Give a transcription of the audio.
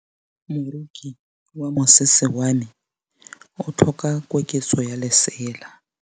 Moroki wa mosese wa me o tlhoka koketsô ya lesela.